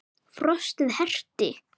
Frostið herti.